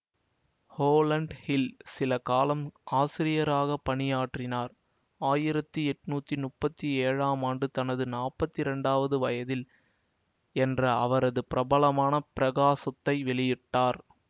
Roland Hill சில காலம் ஆசிரியராக பணியாற்றினார் ஆயிரத்தி எட்ணூத்தி முப்பத்தி ஏழாம் ஆண்டு தனது நாப்பத்தி இரண்டாவது வயதில் என்ற அவரது பிரபலமான பிரசுரத்தை வெளியிட்டார்